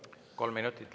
Kolm minutit lisa.